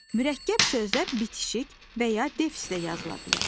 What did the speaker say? Mürəkkəb sözlər bitişik və ya defislə yazıla bilər.